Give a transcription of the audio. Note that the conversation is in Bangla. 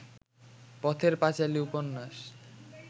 পথের পাঁচালী উপন্যাস